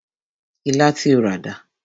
Ilá tí o rà dà?